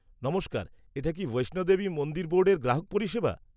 নমস্কার, এটা কি বৈষ্ণো দেবী মন্দির বোর্ডের গ্রাহক পরিষেবা?